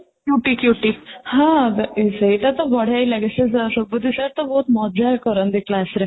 ହଁ, ତ ସେଇଟା, ତ ବଢିଆ ହିଁ ଲାଗେ ସେଇଟା ସୁବୁଧି sir ବହୁତ ମଜାକ କରନ୍ତି class ରେ